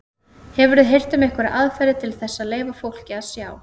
Hefurðu heyrt um einhverjar aðferðir til þess að leyfa fólki að sjá?